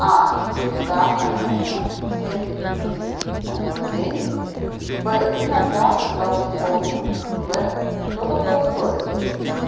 а да конечно семь десять ээ в день б иногда когда вспомню в что такое сторис